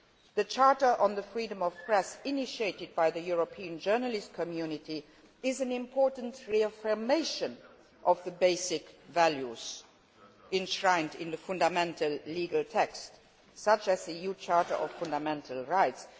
me. The Charter on the Freedom of the Press initiated by the European journalist community is an important reaffirmation of the basic values enshrined in fundamental legal texts such as the EU Charter of Fundamental Rights.